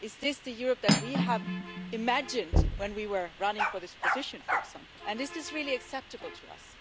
Is this the Europe that we imagined when we were running for this position, for example, and is this really acceptable to us?